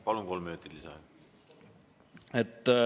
Palun, kolm minutit lisaaega!